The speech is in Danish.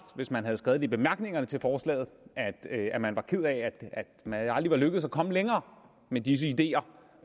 hvis man havde skrevet i bemærkningerne til forslaget at man var ked af at man aldrig var lykkedes med at komme længere med disse ideer